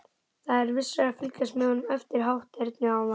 Það er vissara að fylgjast með honum eftir hátternið áðan.